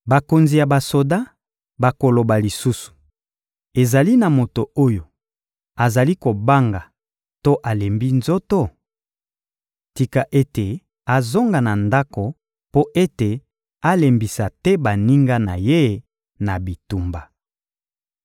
Bakonzi ya basoda bakoloba lisusu: «Ezali na moto oyo azali kobanga to alembi nzoto? Tika ete azonga na ndako mpo ete alembisa te baninga na ye na bitumba.»